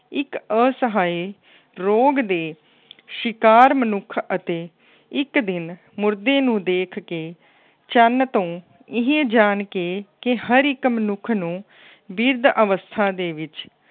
ਇੱਕ ਅਸਹਾਏ ਰੋਗ ਦੇ ਸ਼ਿਕਾਰ ਮਨੁੱਖ ਅਤੇ ਇੱਕ ਦਿਨ ਮੁਰਦੇ ਨੂੰ ਦੇਖ ਕੇ ਚੰਨ ਤੋਂ ਇਹ ਜਾਣ ਕੇ ਕਿ ਹਰ ਇੱੱਕ ਮਨੁੱਖ ਨੂੰ ਬਿਰਧ ਅਵਸਥਾ ਦੇ ਵਿੱਚ